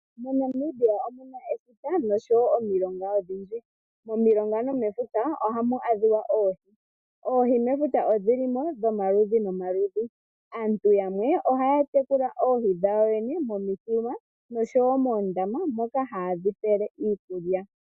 MoNamibia omuna efuta nosho wo omilonga odhindji. Momilonga no mefuta ohamu adhika oohi, oohi mefuta odhi limo dho maludhi no maludhi. Aantu yamwe ohaya tekula oohi dhawo yene momithima nosho wo moondama, moka haye dhi pele iikulya.